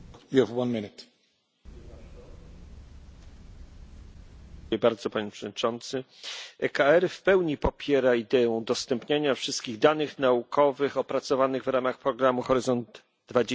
Panie Przewodniczący! EKR w pełni popiera ideę udostępniania wszystkich danych naukowych opracowanych w ramach programu Horyzont 2020 za pośrednictwem europejskiej chmury dla otwartej nauki.